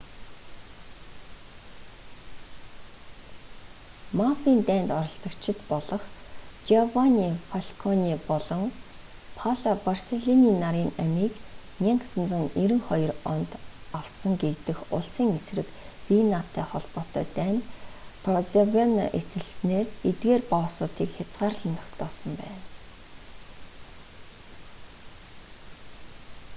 мафийн дайнд оролцогчид болох жиованни фалконе болон пало борселлино нарын амийг 1992 онд авсан гэгдэх улсын эсрэг рийнатай холбоотой дайнд провензано эцэслэснээр эдгээр боссуудыг хязгаарлан тогтоожээ